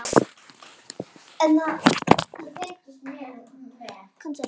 Hringar sig utan um hana.